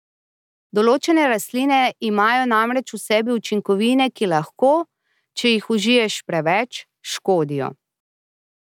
Določene rastline imajo namreč v sebi učinkovine, ki lahko, če jih užiješ preveč, škodijo.